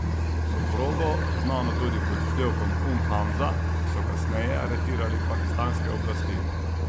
Soprogo, znano tudi pod vzdevkom Um Hamza, so kasneje aretirale pakistanske oblasti.